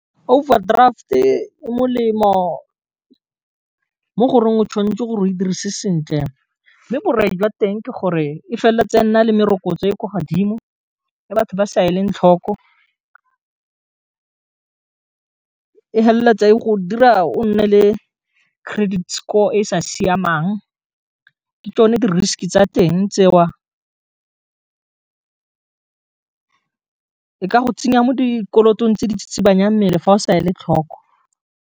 Overdraft-e, o molemo mo goreng o tshwanetse gore e dirise sentle, mme borai jwa teng ke gore, e fela tsena le merokotso e kwa godimo e batho ba se e leng tlhoko e feleletsa e go dira o nne le credit score e sa siamang, ke tsone di-risk tsa teng tseo e ka go tsenya mo dikolotong tse di tsitsibanyang mmele fa o sa e le tlhoko.